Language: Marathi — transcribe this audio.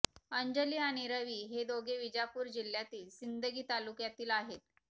अंजली आणि रवि हे दोघे विजापूर जिल्ह्यातील सिंदगी तालुक्यातील आहेत